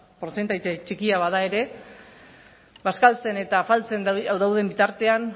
portzentai txikia bada ere bazkaltzen eta afaltzen dauden bitartean